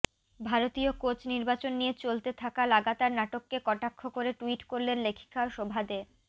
ভারতীয় কোচ নির্বাচন নিয়ে চলতে থাকা লাগাতার নাটককে কটাক্ষ করে টুইট করলেন লেখিকা শোভা দে